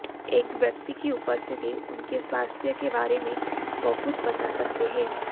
एक व्यक्ति की उपस्थिति उनके स्वास्थ्य के बारे में बहुत बता सकते हैं